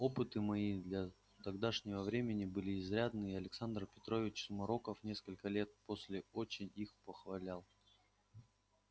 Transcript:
опыты мои для тогдашнего времени были изрядны и александр петрович сумароков несколько лет после очень их похвалял